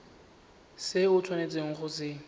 se o tshwanetseng go se